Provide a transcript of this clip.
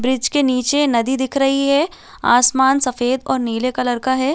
Bridge के नीचे नदी दिख रही है आसमान सफ़ेद और नीले कलर का हैं।